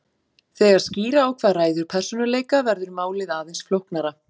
Þegar skýra á hvað ræður persónuleika verður málið aðeins flóknara.